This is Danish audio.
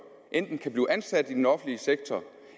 enten kan blive ansat i den offentlige sektor